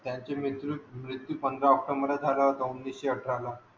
त्यांचे मेतरुत मृत्यू पंधरा ऑक्टोबर उणिसे अठरा ला